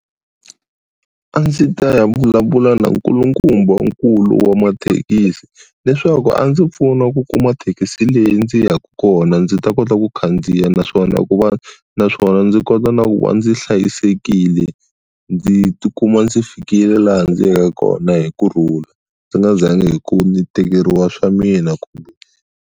A ndzi ta ya vulavula na nkulukumbankulu wa mathekisi leswaku a ndzi pfuna ku kuma thekisi leyi ndzi yaka kona ndzi ta kota ku khandziya naswona ku va naswona ndzi kota na ku va ndzi hlayisekile ndzi ti kuma ndzi fikile laha ndzi yaka kona hi kurhula ndzi nga zangi hi ku ni tekeriwa swa mina .